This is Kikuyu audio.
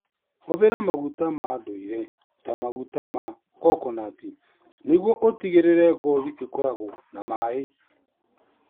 Hũthĩra maguta ma ndũire ta maguta ma coconut nĩguo ũtigĩrĩre ngothi ĩkoragwo na maĩ.